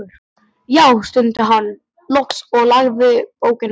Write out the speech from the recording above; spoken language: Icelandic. Já, stundi hann loks og lagði bókina frá sér.